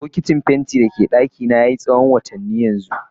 Bokitin fenti ya a dakina tsawon watanni yanzu.